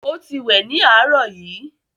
ọ tí wẹ ní arọ yí